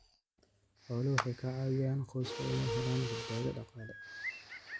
Xooluhu waxay ka caawiyaan qoyska inay helaan badbaado dhaqaale.